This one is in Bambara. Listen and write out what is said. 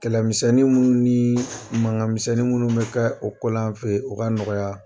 Kɛlɛmisɛn minnu ni mankan misɛn minnu bɛ ka o ko la an fɛ ye u ka nɔgɔya.